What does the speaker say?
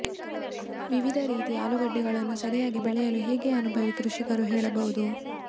ವಿವಿಧ ರೀತಿಯ ಆಲೂಗಡ್ಡೆಗಳನ್ನು ಸರಿಯಾಗಿ ಬೆಳೆಯಲು ಹೇಗೆ ಅನುಭವಿ ಕೃಷಿಕರು ಹೇಳಬಹುದು